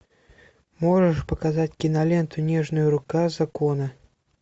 можешь показать киноленту нежная рука закона